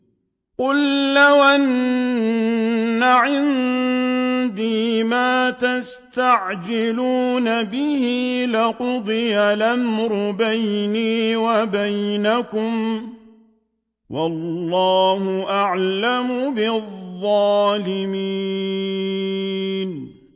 قُل لَّوْ أَنَّ عِندِي مَا تَسْتَعْجِلُونَ بِهِ لَقُضِيَ الْأَمْرُ بَيْنِي وَبَيْنَكُمْ ۗ وَاللَّهُ أَعْلَمُ بِالظَّالِمِينَ